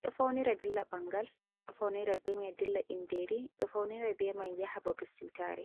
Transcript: ɗo faunira dilla ɓangal, ɗo faunira be mai dilla inderi, ɗo faunira bemai yaha babi seutare.